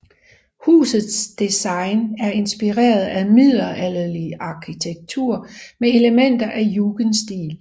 Husets design er inspireret af middelalderlig arkitektur med elementer af jugendstil